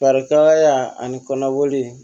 Barika ani kɔnɔboli